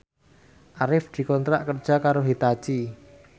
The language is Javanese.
Arif dikontrak kerja karo Hitachi